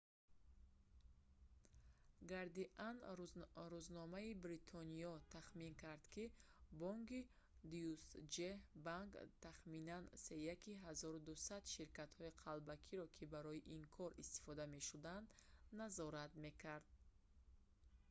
гардиан рӯзномаи бритониё тахмин кард ки бонки deutsche bank тахминан сеяки 1200 ширкатҳои қалбакиро ки барои ин кор истифода мешуданд назорат мекард